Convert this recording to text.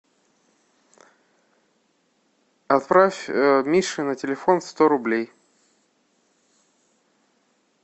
отправь мише на телефон сто рублей